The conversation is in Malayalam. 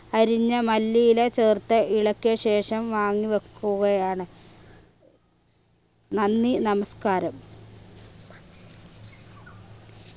അരിഞ്ഞ മല്ലിയില ചേർത്ത് ഇളക്കിയ ശേഷം വാങ്ങി വെക്കുകയാണ് നന്ദി നമസ്കാരം